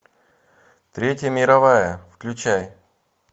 третья мировая включай